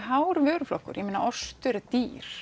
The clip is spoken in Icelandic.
hár vöruflokkur ég meina ostur er dýr